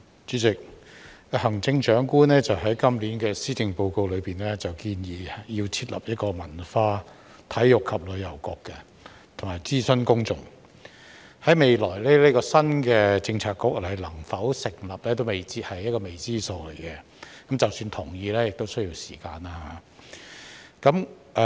主席，行政長官在今年的施政報告中建議要設立文化體育及旅遊局，並諮詢公眾，這個新的政策局在未來能否成立仍然未知，是一個未知數，即使獲得同意亦需要時間。